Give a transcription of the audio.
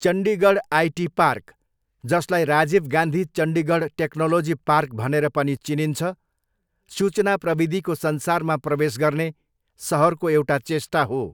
Chandigarh IT park, जसलाई Rajiv Gandhi Chandigarh technology park भनेर पनि चिनिन्छ, सूचना प्रविधिको संसारमा प्रवेश गर्ने सहरको एउटा चेष्टा हो।